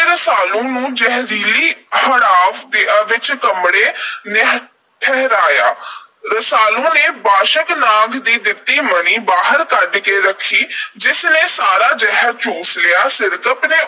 ਰਸਾਲੂ ਨੂੰ ਜ਼ਹਿਰੀਲੀ ਹਵਾੜ ਵਾਲੇ ਕਮਰੇ ਵਿਚ ਠਹਿਰਾਇਆ। ਰਸਾਲੂ ਨੇ ਬਾਸ਼ਕ ਨਾਗ ਦੀ ਦਿੱਤੀ ਮਣੀ ਬਾਹਰ ਕੱਢ ਕੇ ਰੱਖੀ, ਜਿਸ ਨੇ ਸਾਰਾ ਜ਼ਹਿਰ ਚੂਸ ਲਿਆ। ਸਿਰਕੱਪ ਨੇ